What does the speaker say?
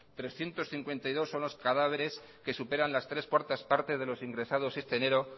trescientos cincuenta y dos son los cadáveres que superan las tres cuartas partes de los ingresados este enero